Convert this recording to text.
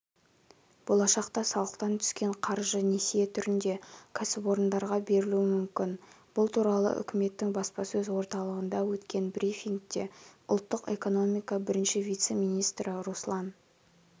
болашақта салықтан түскен қаржы несие түрінде кәсіпорындарға берілуі мүмкін бұл туралы үкіметтің баспасөз орталығында өткен брифингте ұлттық экономика бірінші вице-министрі руслан